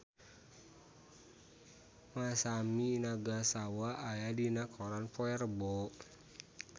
Masami Nagasawa aya dina koran poe Rebo